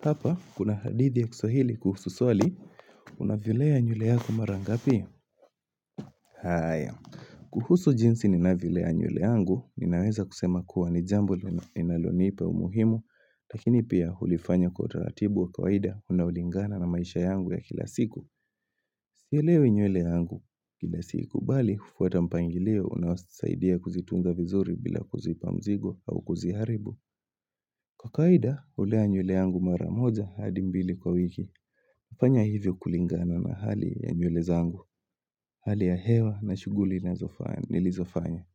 Hapa, kuna hadithi ya kiswahili kuhusu swali, unavilea nywele yako marangapi? Haya, kuhusu jinsi ninavyolea nywele yangu, ninaweza kusema kuwa ni jambo linaloni ipa umuhimu, lakini pia hulifanya kwa utaratibu wa kawaida unaolingana na maisha yangu ya kila siku. Sinyolewi nywele yangu kila siku, bali kufuata mpangilio unaosaidia kuzitunza vizuri bila kuzipa mzigo au kuziharibu. Kwa kawaida, hulea nywele yangu maramoja hadi mbili kwa wiki. Nafanya hivyo kulingana na hali ya nywele zangu. Hali ya hewa na shuguli nazofa nilizofanya.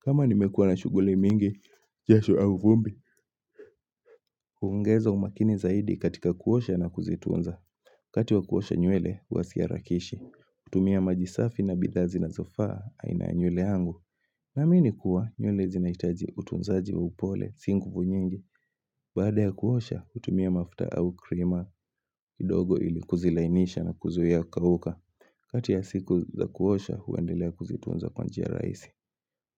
Kama nimekuwa na shuguli mingi, jasho au vumbi, huongeza umakini zaidi katika kuosha na kuzitunza. Wakati wa kuosha nywele huwasiharakishi, hutumia maji safi na bidhaa zinazofaa aina nywele yangu. Naamini kuwa, nywele zinaitaji utunzaji wa upole, si nguvu nyingi, baada ya kuosha, hutumia mafuta au krima kidogo ili kuzilainisha na kuzuia kuuka. Kati ya siku za kuosha, huendelea kuzitunza kwa njia raisi.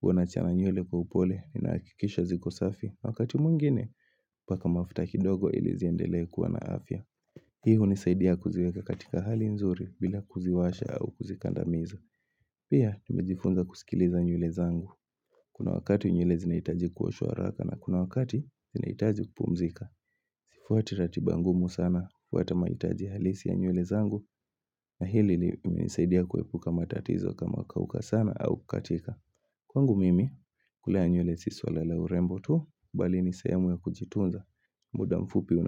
Huwa nachana nywele kwa upole, ninahakikisha zikosafi, wakati mwingine, paka mafuta kidogo ili ziendelea kuwa na afya. Hii hunisaidia kuziweka katika hali nzuri, bila kuziwasha au kuzikandamiza. Pia, nimejifunza kusikiliza nywele zangu. Kuna wakati nywele zinaitaji kuoshwa haraka na kuna wakati zinaitaji kupumzika. Sifuati ratiba ngumu sana hufuata maitaji halisi ya nywele zangu na hili imenisaidia kuwepuka matatizo kama kauka sana au kukatika. Kwangu mimi, kulea nywele si swala la urembo tu, bali nisehemu ya kujitunza, muda mfupi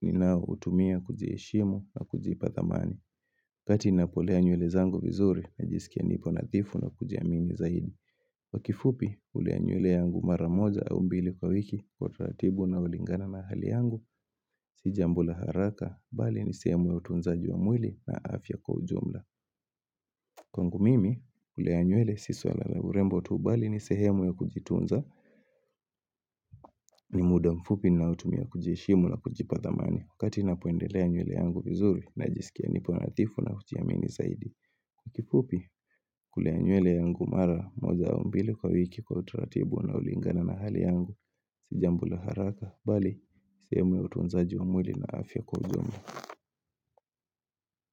ninao hutumia kujiheshimu na kujipa thamani. Kati ninapolea nywele zangu vizuri, najisikia nipo nadhifu na kujiamini zaidi. Kwa kifupi, hulea nywele yangu maramoja au mbili kwa wiki, kwa utaratibu unolingana na hali yangu, si jambo la haraka, bali nisehemu ya utunzaji wa mwili na afya kwa ujumla. Kwangu mimi, kulea nywele si swala na urembo tu bali ni sehemu ya kujitunza ni muda mfupi naotumia kujiheshimu na kujipa thamani Wakati napoendelea nywele yangu vizuri na jisikia nipo nathifu na kujiamini zaidi kifupi, kulea nywele yangu mara moja au mbili kwa wiki kwa utaratibu unaolingana na hali yangu Si jambo la haraka, bali, sehemu ya utunzaji wa mwili na afya kwa ujumla.